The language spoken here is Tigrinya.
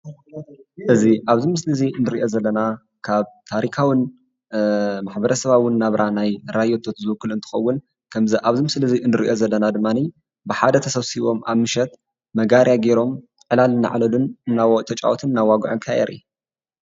እዚ ኣብዚ ምስሊ እዚ እንርእዮ ዘለና ካብ ታሪካዉን ማሕበረሰባዉን ናብራ ናይ ራዮቶት ዝዉክል እንትከዉን ከምዚ ኣብዚ ምስሊ እንርእየን ዘለና ድማኒ ብሓደ ተሰብሲቦም ኣብ ምሸት መጋርያ ገይሮም ዕላል እናዕለሉን እናተጫወቱን እናዋጉዕን ከዓ የርኢ።